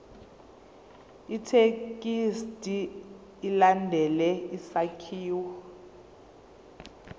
ithekisthi ilandele isakhiwo